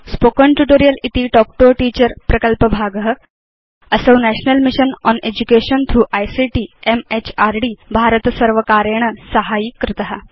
spoken tutorial इति talk to a teacher प्रकल्पभाग असौ national mission on education through ICT MHRD भारतसर्वकारेण साहाय्यीकृत